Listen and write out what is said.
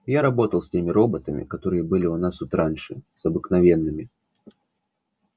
я работал с теми роботами которые были у нас тут раньше с обыкновенными